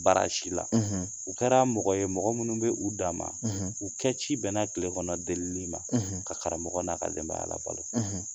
Baara si la u kɛra mɔgɔ ye mɔgɔ minnu bɛ u dan ma u kɛ ci bɛn na kilekɔnɔ delili ma ka karamɔgɔ n ka denbaya labolo